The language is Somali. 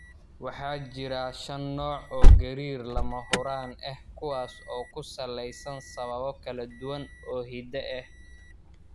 Waxa jira shan nooc oo gariir lama huraan ah kuwaas oo ku salaysan sababo kala duwan oo hidde ah.